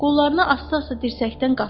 Qollarını asta-asta dirsəkdən qatladı.